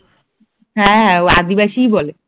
হ্যাঁ হ্যাঁ ওই আদিবাসী বলে